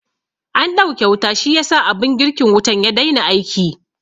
An ɗauke wuta shiyasa abin girkin wutan ya dai na aiki